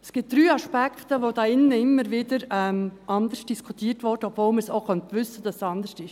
Es gibt drei Aspekte, die hier drin immer wieder anders diskutiert werden, obwohl man auch wissen könnte, dass es anders ist.